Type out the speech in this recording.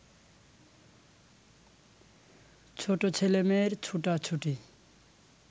ছোট ছেলেমেয়ের ছুটাছুটি